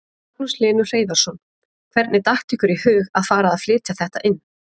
Magnús Hlynur Hreiðarsson: Hvernig datt ykkur í huga að fara að flytja þetta inn?